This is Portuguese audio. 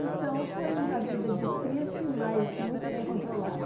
Então, foi uma vida difícil, mas muito bem controlada.